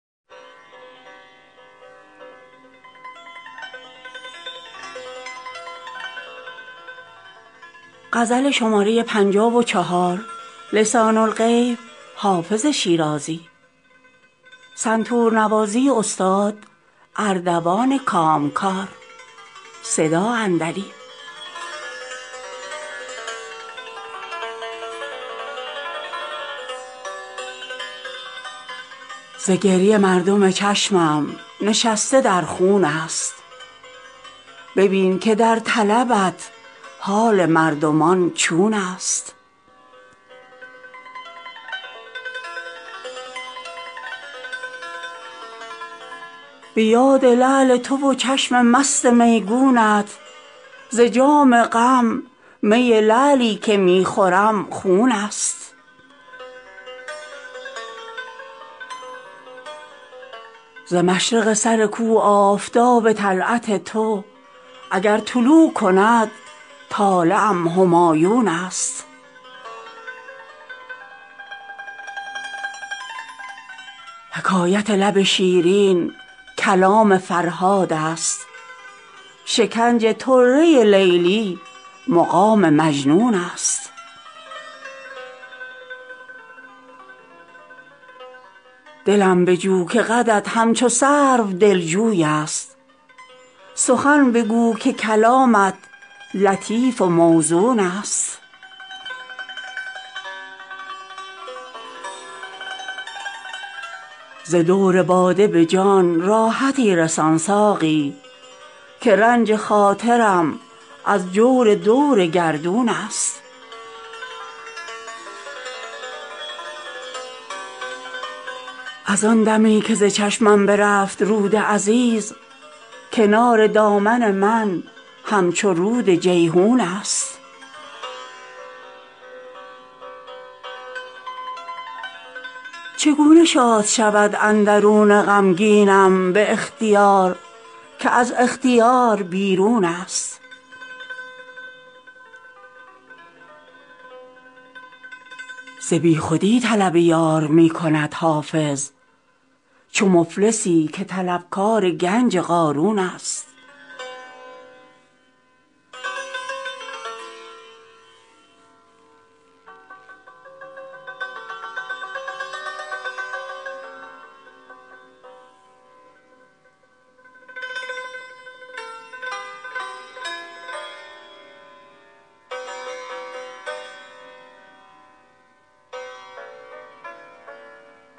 ز گریه مردم چشمم نشسته در خون است ببین که در طلبت حال مردمان چون است به یاد لعل تو و چشم مست میگونت ز جام غم می لعلی که می خورم خون است ز مشرق سر کو آفتاب طلعت تو اگر طلوع کند طالعم همایون است حکایت لب شیرین کلام فرهاد است شکنج طره لیلی مقام مجنون است دلم بجو که قدت همچو سرو دلجوی است سخن بگو که کلامت لطیف و موزون است ز دور باده به جان راحتی رسان ساقی که رنج خاطرم از جور دور گردون است از آن دمی که ز چشمم برفت رود عزیز کنار دامن من همچو رود جیحون است چگونه شاد شود اندرون غمگینم به اختیار که از اختیار بیرون است ز بیخودی طلب یار می کند حافظ چو مفلسی که طلبکار گنج قارون است